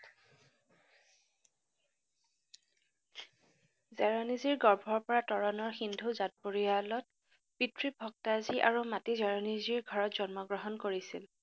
জাৰনীজীৰ গৰ্ভৰপৰা তৰনৰ সিন্ধু জাত পৰিয়লত পিতৃ ভক্তাজী আৰু মাতৃ হিৰনীজীৰ জন্ম গ্ৰহণ কৰিছে।